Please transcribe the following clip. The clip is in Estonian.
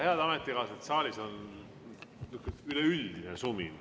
Head ametikaaslased, saalis on niisugune üleüldine sumin.